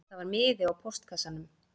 Það var miði í póstkassanum